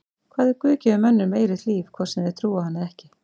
Hvað ef Guð gefur mönnum eilíft líf hvort sem þeir trúa á hann eða ekki?